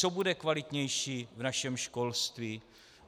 Co bude kvalitnější v našem školství.